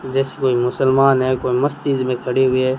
जैसे कोई मुसलमान है कोई मस्त चीजे में खड़े हुए--